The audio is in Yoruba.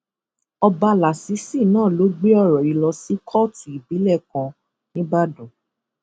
ọba lásìsì náà ló gbé ọrọ yìí lọ sí kóòtù ìbílẹ kan nìbàdàn